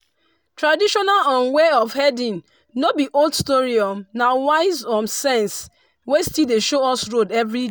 traditional um way of herding no be old story um na wise um sense wey still dey show us road every